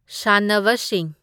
ꯁꯥꯟꯅꯕꯁꯤꯡ